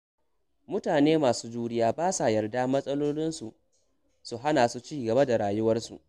Mutane masu juriya ba sa yarda matsaloli su hana su ci gaba da rayuwarsu.